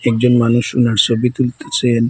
একজন মানুষ উনার ছবি তুলতাছেন।